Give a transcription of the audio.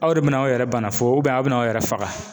Aw de bɛna aw yɛrɛ bana fo aw bɛna aw yɛrɛ faga.